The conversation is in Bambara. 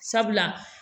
Sabula